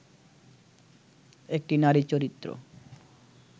একটি নারী চরিত্র